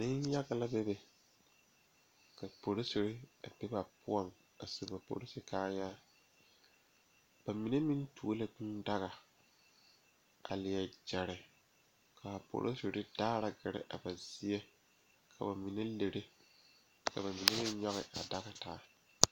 Noba naŋ waa yaga Nenpeɛle ane nensɔglaa ba su la gyase kparre ka a taa nanbare bamine su la kpare peɛle ka bamine su kpare ziiri ka paa ba ziɛ ka o e oroge.